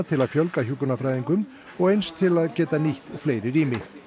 til að fjölga hjúkrunarfræðingum og eins til að geta nýtt fleiri rými